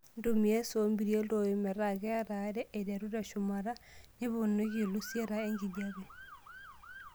Ntumia esoo mperie iltoi metaa kat are aiteru teshumata, niponiki ilusieta enkijape.